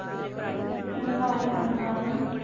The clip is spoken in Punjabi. ਹੱਮ ਨਾਈ ਆਵੰਦਾ